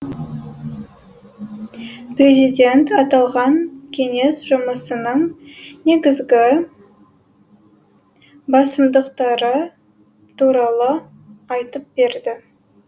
президент аталған кеңес жұмысының негізгі басымдықтары туралы айтып берді